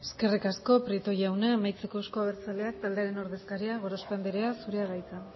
eskerrik asko prieto jauna amaitzeko euzko abertzaleak taldearen ordezkaria gorospe andrea zurea da hitza